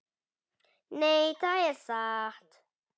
Nei, það er satt.